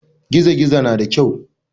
Gizo gizo na da kyau.